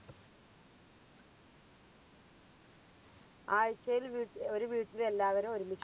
ആഴ്ചയിൽ വീട്ടില് ഒരു വീട്ടില് എല്ലാവരും ഒരുമി